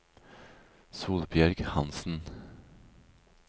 Solbjørg Hansen